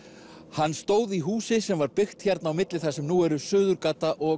hann stóð í húsi sem var byggt hérna á milli þar sem nú eru Suðurgata og